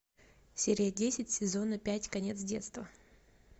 серия десять сезона пять конец детства